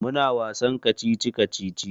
Muna wasan kacici-kacici.